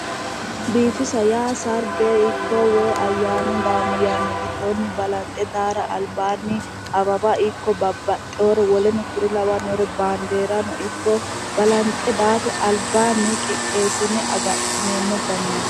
Biifisa yaa sarge ikko woyi ayyaanu daanno yanna giddonni balanxe daara albaanni awawa ikko babbaxxewore lawannore baandeerano ikko balanxe daara albaanni qixxeessineemmo danaati